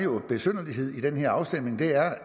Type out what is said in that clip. i den her afstemning er